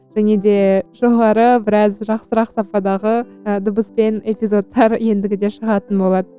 және де жоғары біраз жақсырақ сападағы ы дыбыспен эпизодтар ендігіде шығатын болады